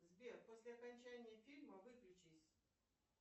сбер после окончания фильма выключись